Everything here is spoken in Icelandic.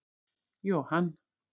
Johan